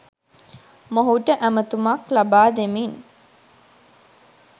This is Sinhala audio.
මොහුට ඇමතුමක් ලබා දෙමින්